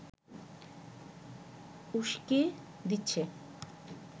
উস্কে দিচ্ছে